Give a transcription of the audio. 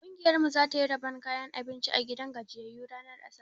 Ƙungiyar mu za ta yi rabon kayan abinci a gidan gajiyyayu ranar asabar.